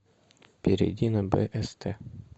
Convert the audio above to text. перейди на бст